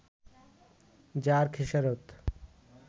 যার খেসারত